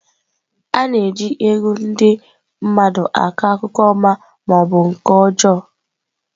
A na-eji egwu ndị mmadụ akọ akụkọ ọma ma ọ bụ nke ọjọọ.